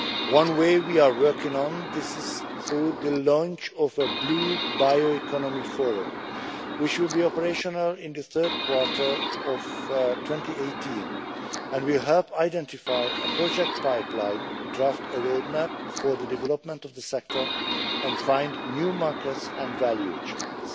One way we are working on this is through the launch of a Blue Bioeconomy Forum, which should be operational in the third quarter of 2018, and which will help identify a project pipeline, draft a roadmap for the development of the sector and find new markets and value chains.